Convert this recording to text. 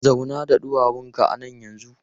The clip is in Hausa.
Zauna da ɗuwawunka a nan yanzu!